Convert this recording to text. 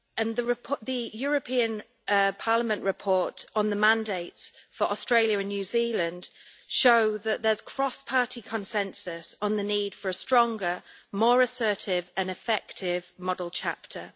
The European Parliament report on the mandates for Australia and New Zealand show that there is cross-party consensus on the need for a stronger, more assertive and effective model chapter.